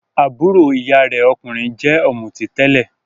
Àbúrò ìyá rẹ̀ okunrin jẹ́ ọ̀mùtí tẹ́lẹ̀.